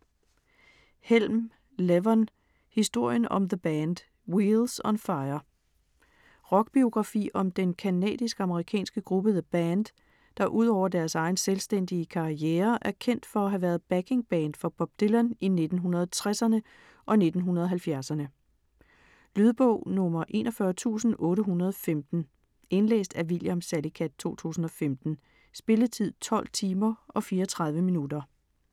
Helm, Levon: Historien om The Band - wheels on fire Rockbiografi om den canadisk-amerikanske gruppe The Band, der udover deres egen selvstændige karriere, er kendt for at have været backingband for Bob Dylan i 1960'erne og 1970'erne. Lydbog 41815 Indlæst af William Salicath, 2015. Spilletid: 12 timer, 34 minutter.